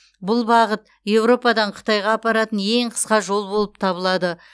бұл бағыт еуропадан қытайға апаратын ең қысқа жол болып табылады